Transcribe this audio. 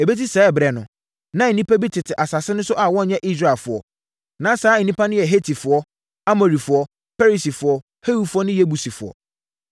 Ɛbɛsi saa ɛberɛ no, na nnipa bi tete asase no so a wɔnyɛ Israelfoɔ. Na saa nnipa no yɛ Hetifoɔ, Amorifoɔ, Perisifoɔ, Hewifoɔ ne Yebusifoɔ.